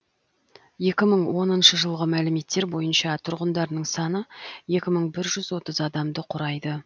екі мың оныншы жылғы мәліметтер бойынша тұрғындарының саны екі мың бір жүз отыз адамды құрайды